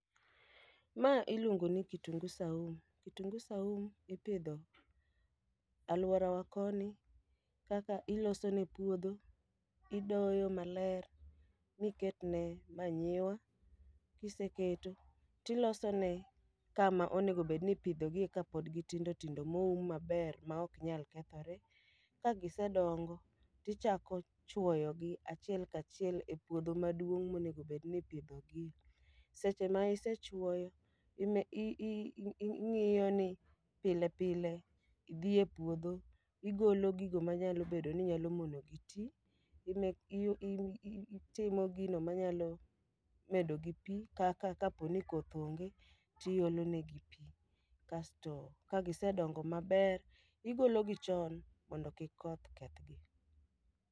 Ma iluongo ni kitungu saumu, kitungu saumu ipidho alworawa koni. Kaka ilosone puodho, idoyo maler miketne manyiwa, kiseketo tilosone kama onegobedni ipidhogie kapod gitindo tindo moum maber maok nyal kethore. Ka gisedongo, tichako chwoyogi achiel kachiel e puodho maduong' monegobedni ipidhogie. Seche ma isechwoyo, ime i ing'iyo ni pile pile idhi e puodho, igolo gigo manyalo bedo ni nyalo monogi ti. Itimo gino manyalo medo gi pi, kaka kaponi koth onge tiolo negi pi. Kasto kagisedongo maber, igologi chon mondo kik koth kethgi.